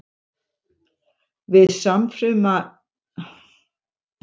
Við samruna kynfrumna myndast síðan okfruma sem hefur aftur tvær samstæðar erfðaeindir af hvorri gerð.